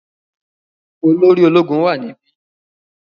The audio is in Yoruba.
Olóri ológun wà níbi.